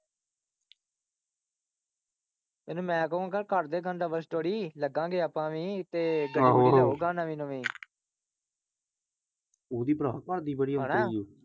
ਇਹਨੂੰ ਮੈਂ ਕਹੂੰਗਾ ਕਰਦੇ ਗਾ double story ਲੱਗਾਂ ਗੇ ਆਪਾਂ ਵੀ ਤੇ ਆਹੋ ਆਹੋ ਨਵੀ ਨਵੀ ਓਹਦੀ ਭਰਾ ਘਰਦੀ ਬੜੀ ਔਂਤਰੀ ਉ।